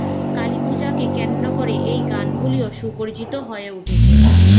কালিপূজাকে কেন্দ্র করে এই গানগুলিও সুপরিচিত হয়ে উঠেছে।